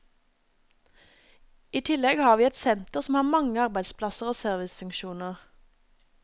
I tillegg har vi et senter som har mange arbeidsplasser og servicefunksjoner.